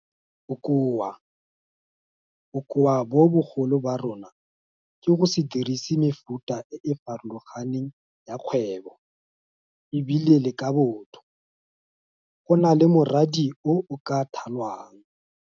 Bokoa. Bokoa bo bogolo ba rona ke go se dirise mefuta e e farologaneng ya kgwebo e bile le ka Botho, go na le moradi o o ka thalwang.